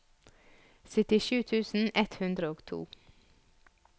syttisju tusen ett hundre og to